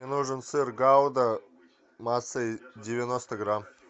мне нужен сыр гауда массой девяносто грамм